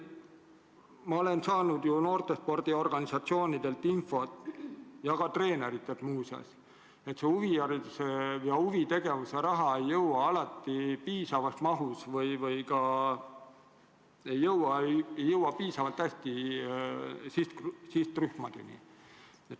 Ma olen saanud noortespordiorganisatsioonidelt infot, ja ka treeneritelt, et huvihariduse ja huvitegevuse raha ei jõua alati piisavas mahus või piisavalt hästi sihtrühmade kätte.